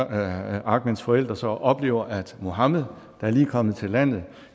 at ahmeds forældre så oplever at mohammed der lige er kommet til landet